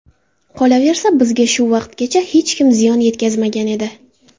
Qolaversa, bizga shu vaqtgacha hech kim ziyon yetkazmagan edi”.